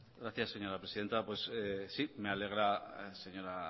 gracias señora presidenta sí me alegra señora